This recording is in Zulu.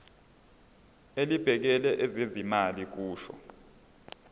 elibhekele ezezimali kusho